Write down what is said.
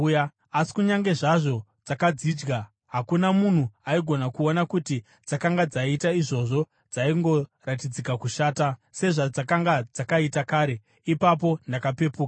Asi kunyange zvazvo dzakadzidya, hakuna munhu aigona kuona kuti dzakanga dzaita izvozvo; dzaingoratidzika kushata sezvadzakanga dzakaita kare. Ipapo ndakapepuka.